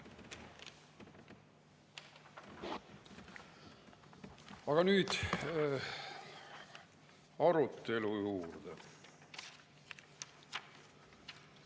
Aga nüüd arutelu juurde.